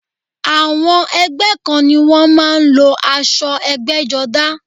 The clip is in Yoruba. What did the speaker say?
Àwọn ẹgbẹ́ kan ni wọ́n má a ń lo asọ ẹgbẹ́jọdá